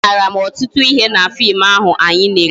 A mụtara m ọtụtụ ihe na fim ahụ anyị lere